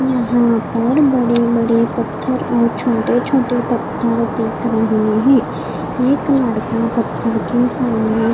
यहाँ पर बड़े बड़े पत्थर और छोटे छोटे पत्थर दिख रहे हैं एक लड़का पत्थर के सामने--